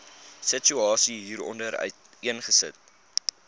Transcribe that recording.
situasie hieronder uiteengesit